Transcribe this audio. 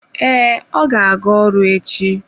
Ee, ọ ga-aga ọrụ echi.